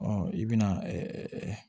Ɔ i bɛna ɛɛ